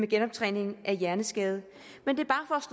genoptræning af hjerneskadede men det